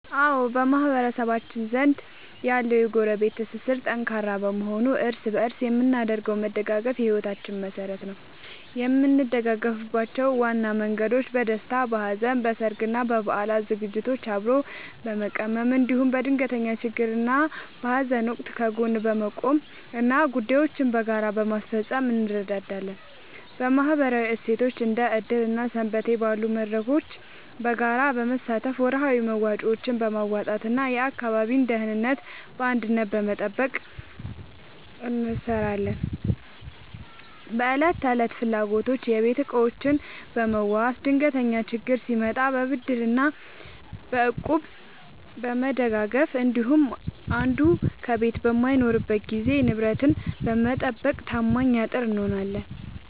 አዎ፣ በማህበረሰባችን ዘንድ ያለው የጎረቤት ትስስር ጠንካራ በመሆኑ እርስ በእርስ የምናደርገው መደጋገፍ የሕይወታችን መሠረት ነው። የምንደጋገፍባቸው ዋና መንገዶች፦ በደስታና በሐዘን፦ በሠርግና በበዓላት ዝግጅቶችን አብሮ በመቀመም፣ እንዲሁም በድንገተኛ ችግርና በሐዘን ወቅት ከጎን በመቆምና ጉዳዮችን በጋራ በማስፈጸም እንረዳዳለን። በማኅበራዊ እሴቶች፦ እንደ ዕድር እና ሰንበቴ ባሉ መድረኮች በጋራ በመሳተፍ፣ ወርሃዊ መዋጮዎችን በማዋጣትና የአካባቢን ደህንነት በአንድነት በመጠበቅ እንተሳሰራለን። በዕለት ተዕለት ፍላጎቶች፦ የቤት ዕቃዎችን በመዋዋስ፣ ድንገተኛ ችግር ሲመጣ በብድርና በእቁብ በመደጋገፍ እንዲሁም አንዱ ከቤት በማይኖርበት ጊዜ ንብረትን በመጠባበቅ ታማኝ አጥር እንሆናለን።